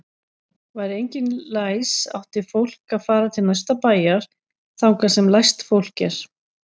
Væri enginn læs átti fólk að fara til næsta bæjar þangað sem læst fólk er.